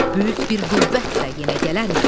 Böyük bir qüvvətlə yenə gələrik.